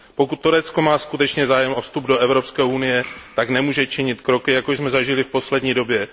Pokud Turecko má skutečně zájem o vstup do Evropské unie, tak nemůže činit kroky, jako jsme zažili v poslední době.